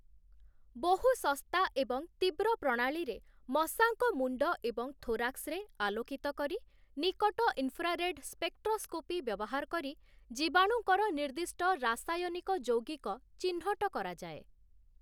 ବହୁ ଶସ୍ତା ଏବଂ ତୀବ୍ର ପ୍ରଣାଳୀରେ ମଶାଙ୍କ ମୁଣ୍ଡ ଏବଂ ଥୋରାକ୍ସରେ ଆଲୋକିତ କରି ନିକଟ ଇନଫ୍ରାରେଡ୍ ସ୍ପେକ୍ଟ୍ରସ୍କୋପି ବ୍ୟବହାର କରି ଜୀବାଣୁଙ୍କର ନିର୍ଦ୍ଦିଷ୍ଟ ରାସାୟନିକ ଯୌଗିକ ଚିହ୍ନଟ କରାଯାଏ ।